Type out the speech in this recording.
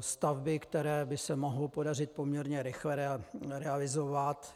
stavby, které by se mohlo podařit poměrně rychle realizovat.